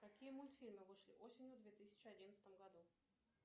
какие мультфильмы вышли осенью две тысячи одиннадцатом году